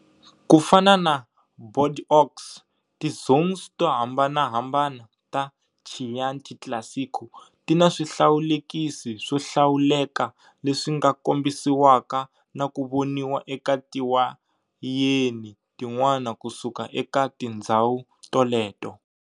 Kufana na Bordeaux, ti zones tohambanahambana ta Chianti Classico tina swihlawulekisi swo hlawuleka leswinga kombisiwaka naku voniwa eka tiwayeni tin'wana kusuka eka tindzhawu toleto.